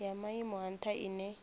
ya maimo a ntha ine